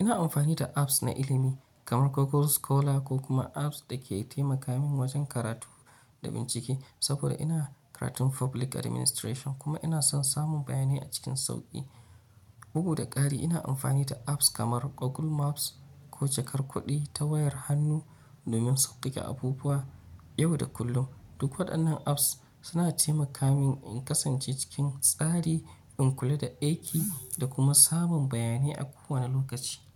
Ina amfani da apps na ilimi kamar Google Scholar ko kuma apps da ke taimaka min wajen karatu da bincike saboda ina karatun public administration kuma ina son samun bayanai a cikin sauƙi. Bugu da ƙari, ina amfani da apps kamar Google Maps ko jakar kuɗi ta wayar hannu domin sauƙaƙe abubuwa yau da kullum. Duk waɗannan apps suna taimaka min in kasance cikin tsari, in kula da aiki da kuma samun bayanai a kowane lokaci.